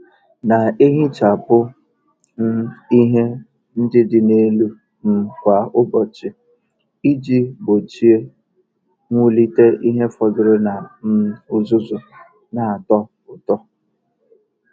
Na-ehichapụ um ihe ndị dị n'elu um kwa ụbọchị iji gbochie mwulite ihe fọdụrụ na um uzuzu na-atọ ụtọ.